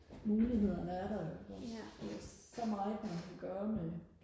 mulighederne er der jo ikke også der er så meget man kan gøre med